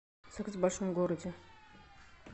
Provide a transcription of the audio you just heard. секс в большом городе